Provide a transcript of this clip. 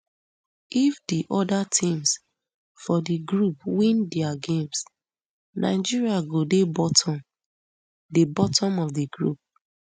if di oda teams for di group win dia games nigeria go dey bottom dey bottom of di group